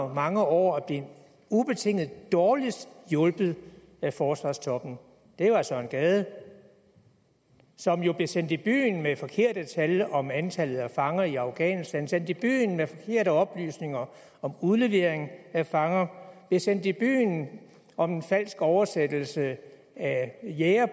mange år er blevet ubetinget dårligst hjulpet af forsvarstoppen er søren gade som jo blev sendt i byen med forkerte tal om antallet af fanger i afghanistan blev sendt i byen med forkerte oplysninger om udlevering af fanger blev sendt i byen om en falsk oversættelse af jæger